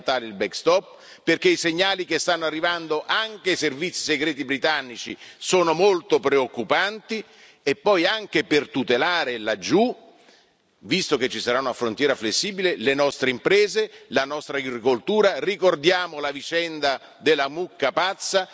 È fondamentale il backstop perché i segnali che stanno arrivando anche ai servizi segreti britannici sono molto preoccupanti, ed è anche fondamentale tutelare laggiù, visto che ci sarà una frontiera flessibile, le nostre imprese e la nostra agricoltura ricordiamo la vicenda della mucca pazza.